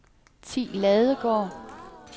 Thi Ladegaard